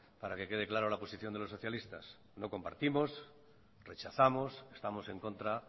para que quede clara la posición de los socialistas lo compartimos y rechazamos estamos en contra